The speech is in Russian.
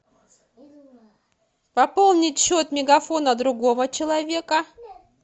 пополнить счет мегафона другого человека